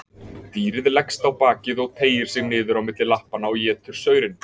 Dýrið leggst á bakið og teygir sig niður á milli lappanna og étur saurinn.